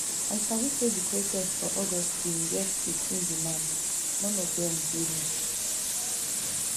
i sabi say di protest for august bin get fifteen demands non of dem dey met